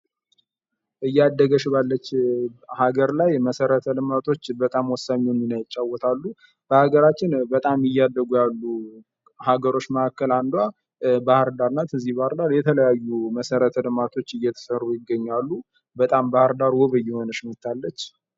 እያደገች ባለች ሀገር ላይ መሰረተ ልማቶች በጣም ወሳኙን ሚና ይጫወታሉ። በሀገራችን በጣም እያደጉ ያሉ አንዷ ባህርዳር ናት። እዚህ ባህርዳር የተለያዩ መሰረተ ልማቶች እየተሰሩ ይገኛሉ። በጣም ባህርዳር ዉብ እየሆነች ትገኛለች።